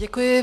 Děkuji.